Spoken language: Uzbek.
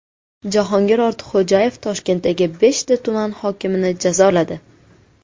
Jahongir Ortiqxo‘jayev Toshkentdagi beshta tuman hokimini jazoladi.